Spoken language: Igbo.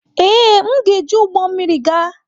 Ee, m ga-eji ụgbọ mmiri gaa.